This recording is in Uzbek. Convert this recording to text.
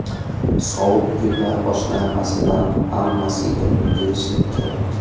Sovuq kunlar boshlanmasidan hammasiga ulgurishim kerak.